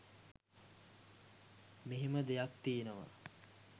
එහෙම දෙයක් තියෙනවා